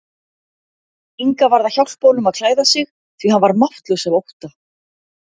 Inga varð að hjálpa honum að klæða sig því hann var máttlaus af ótta.